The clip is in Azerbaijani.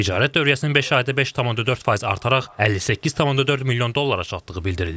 Ticarət dövriyyəsinin beş ayda 5.4% artaraq 58.4 milyon dollara çatdığı bildirilib.